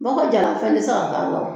Dɔgɔ jara fɛn ti se ka k'a kan